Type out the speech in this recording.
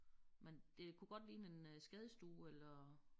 Men det kunne godt ligne en øh skadestue eller